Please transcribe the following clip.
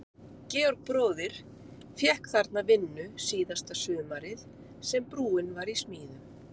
Georg bróðir fékk þarna vinnu síðasta sumarið sem brúin var í smíðum.